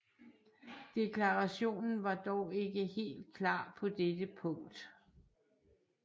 Deklarationen var dog ikke helt klar på dette punkt